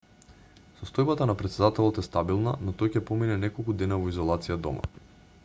состојбата на претседателот е стабилна но тој ќе помине неколку дена во изолација дома